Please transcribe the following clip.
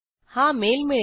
हा मेल मिळेल